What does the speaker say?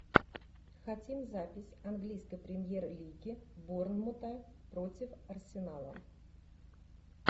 хотим запись английской премьер лиги борнмута против арсенала